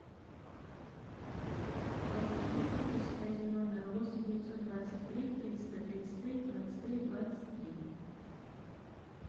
платить услуги связи номер восемь девятьсот двадцать три триста тридцать три двадцать три двадцать три